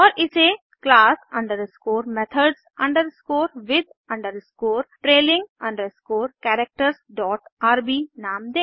और इसे class underscore methods underscore with underscore trailing underscore characters dot rbनाम दें